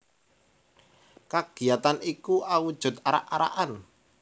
Kagiyatan iku awujud arak arakan